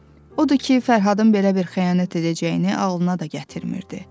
Odur ki, Fərhadın belə bir xəyanət edəcəyini ağlına da gətirmirdi.